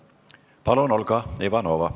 Palun, Olga Ivanova!